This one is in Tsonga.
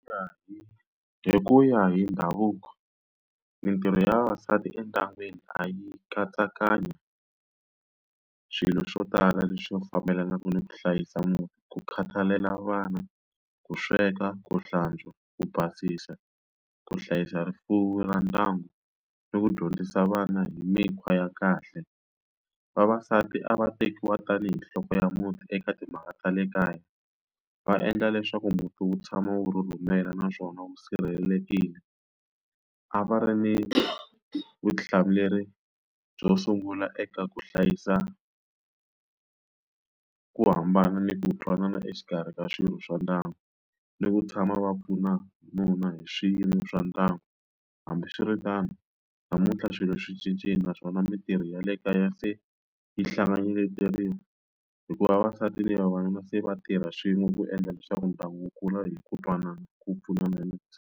Hi ku ya hi ndhavuko mintirho ya vavasati endyangwini a yi katsakanyi swilo swo tala leswi fambelanaka ni ku hlayisa muti, ku khathalela vana, ku sweka, ku hlantswa, ku basisa, ku hlayisa rifuwo ra ndyangu, ni ku dyondzisa vana hi mikhwa ya kahle. Vavasati a va tekiwa tanihi nhloko ya muti eka timhaka ta le kaya, va endla leswaku muti wu tshama wu rhurhumela naswona wu sirhelelekile. A va ri ni vutihlamuleri byo sungula eka ku hlayisa ku hambana ni ku twanana exikarhi ka swirho swa ndyangu, ni ku tshama va pfuna nuna hi swiyimo swa ndyangu. Hambiswiritano, namuntlha swilo swi cincile naswona mitirho ya le kaya se yi hikuva vavasati na vavanuna se va tirha swin'we ku endla leswaku ndyangu wu kula hi ku twanana ku pfunana hi .